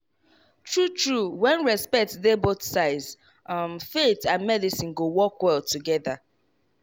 true true when respect dey both sides um faith and medicine go work well together.